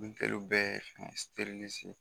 bɛɛ